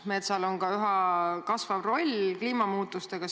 Metsal on üha kasvav roll seoses kliimamuutustega.